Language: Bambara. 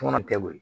Tɔmɔnɔ tɛ wo